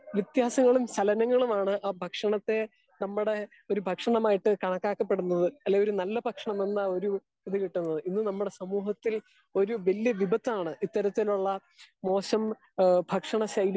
Speaker 2 വ്യത്യാസങ്ങളും ചലനങ്ങളുമാണ് ആ ഭക്ഷണത്തെ നമ്മുടെ ഒര് ഭക്ഷമായിട്ട് കണക്കാ ക്കപ്പെടുന്നത്. അല്ലെങ്കിൽ ഒര് നല്ല ഭക്ഷണമല്ല ഒരു ഇത് കിട്ടുന്നത്. ഇന്ന് നമ്മുടെ സമൂഹത്തിൽ ഇത്തരത്തിൽ ഉള്ള മോശം ഭക്ഷണ ശൈലി